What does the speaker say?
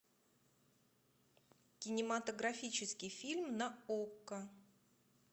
кинематографический фильм на окко